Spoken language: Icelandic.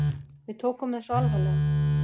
Við tókum þessu alvarlega.